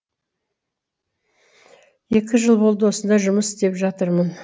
екі жыл болды осында жұмыс істеп жатырмын